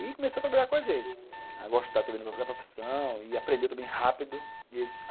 E começou a trabalhar com a gente, a gostar também da minha própria profissão e aprender também rápido.